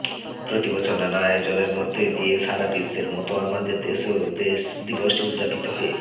প্রতি বছর নানা আয়োজনের মধ্য দিয়ে সারা বিশ্বের মত আমাদের দেশেও দিবসটি উদযাপিত হয়ে